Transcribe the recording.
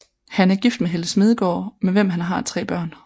Han er gift med Helle Smedegaard med hvem han tre børn